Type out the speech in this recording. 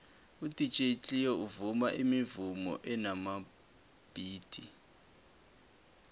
udj cleo uvuma imivumo enamabhithi